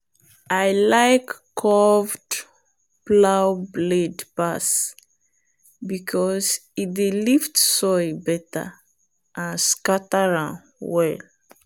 i like curved plow blade pass because e dey lift soil better and scatter am well.